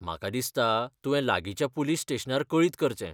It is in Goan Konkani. म्हाका दिसता तुवें लागिंच्या पुलीस स्टेशनार कळीत करचें.